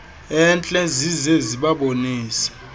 entle zize zibabonise